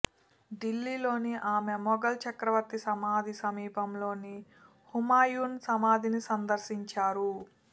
ఢిల్లీలోని ఆమె మొఘల్ చక్రవర్తి సమాధి సమీపంలోని హుమయున్ సమాధిని సందర్శించారు